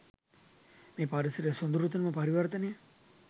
මේ පරිසරයේ සොඳුරුතම පරිවර්තනය